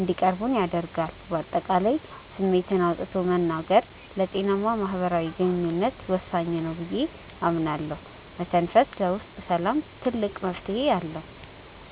እንዲቀርቡን ያደርጋል። በአጠቃላይ ስሜትን አውጥቶ መናገር ለጤናማ ማህበራዊ ግንኙነት ወሳኝ ነው ብዬ አምናለሁ። መተንፈስ ለውስጥ ሰላም ትልቅ መፍትሄ ነው።